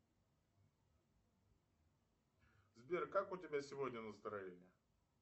сбер как у тебя сегодня настроение